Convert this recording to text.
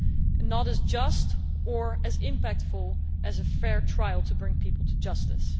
and not as just or as impactful as a fair trial to bring people to justice.